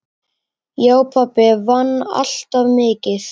Já, pabbi vann alltaf mikið.